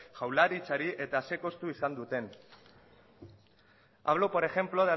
jaurlaritzari eta zein kostu izan duten hablo por ejemplo